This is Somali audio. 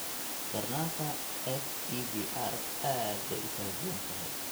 Darnaanta FEVR aad bay u kala duwan tahay, xitaa isla qoyska dhexdiisa.